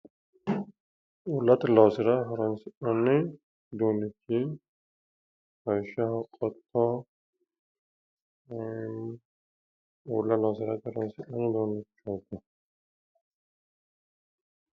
uullate loosira horonsi'nanni uduunnichi lawishshaho qotto uulla loosirate horonsi'nanni uduunnichooti.